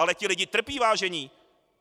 Ale ti lidi trpí, vážení.